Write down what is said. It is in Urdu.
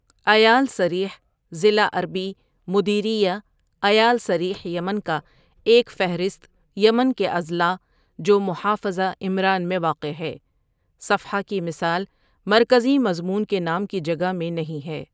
عیال سریح ضلع عربی مديرية عيال سريح یمن کا ایک فہرست یمن کے اضلاع جو محافظہ عمران میں واقع ہے صفحہ کی مثال مرکزی مضمون کے نام کی جگہ میں نہیں ہے۔